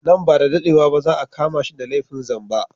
Nan ba da dadewa ba za a kama shi da laifin zamba